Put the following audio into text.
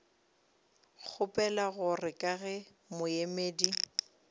kgopela gore ka ge moemedi